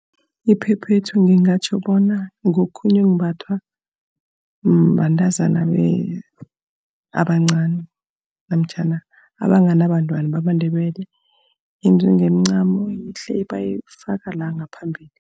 Iphephethu ngingatjho bona ngokhunye okumbathwa bantazana abancani, namtjhana abanganabantwana bamaNdebele. Yenziwe ngemincamo, yihle bayifaka la ngaphambili.